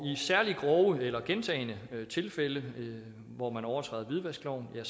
særlig grove eller gentagne tilfælde hvor man overtræder hvidvaskloven har